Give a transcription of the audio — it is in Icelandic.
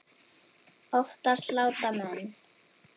Oftast láta menn